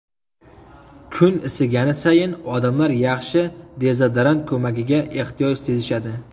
Kun isigani sayin odamlar yaxshi dezodorant ko‘magiga ehtiyoj sezishadi.